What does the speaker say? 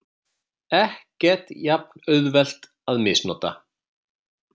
Ekkert jafn auðvelt að misnota.